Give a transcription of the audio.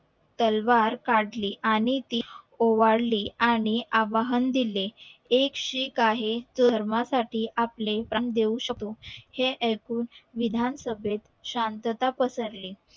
तालावर काढली आणि ती ओवाळी आणि आवाहन दिले एक शीख आहे जो धर्मा साठी आपले प्राण देऊ शकतो हे ऐकून विधान सभेत शांतात पसरली